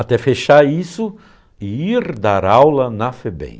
Até fechar isso e ir dar aula na FEBEM.